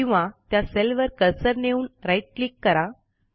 किंवा त्या सेलवर कर्सर नेऊन राईट क्लिक करा